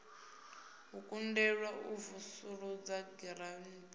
u kundelwa u vusuludza giranthi